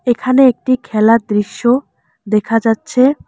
এখানে একটি খেলার দৃশ্য দেখা যাচ্ছে।